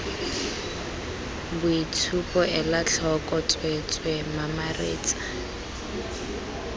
boitshupo ela tlhoko tsweetswee mamaretsa